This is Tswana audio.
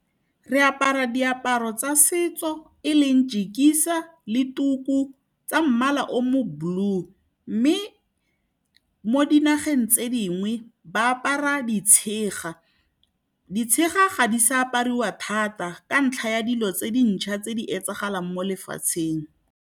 Re apara diaparo tsa setso eleng jikisa le tuku tsa mmala o mo blue. Mme mo dinageng tse dingwe ba apara ditshega, ditshega ga di se apariwa thata ka ntlha ya dilo tse dintšha tse di etsagalang mo lefatsheng.